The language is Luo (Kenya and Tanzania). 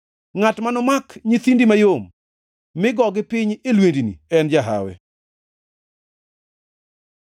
ngʼat manomak nyithindi mayom mi gogi piny e lwendni en jahawi.